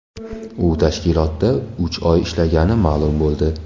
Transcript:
U tashkilotda uch oy ishlagani ma’lum bo‘ldi.